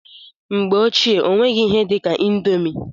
Mgbe ochie, ọ nweghị ihe dị ka indomi.